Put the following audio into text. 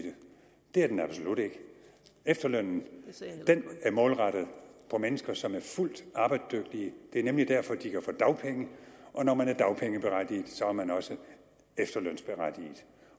det er den absolut ikke efterlønnen er målrettet mennesker som er fuldt arbejdsdygtige det er nemlig derfor de kan få dagpenge og når man er dagpengeberettiget er man også efterlønsberettiget